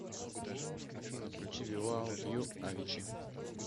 афина включи визаут ю авичи